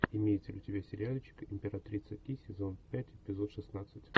имеется ли у тебя сериальчик императрица ки сезон пять эпизод шестнадцать